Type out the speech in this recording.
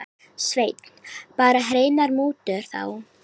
Sveinn: Bara hreinar mútur þá?